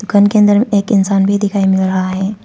दुकान के अंदर में एक इंसान भी दिखाई मिल रहा है।